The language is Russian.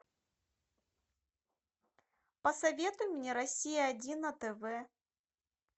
посоветуй мне россия один на тв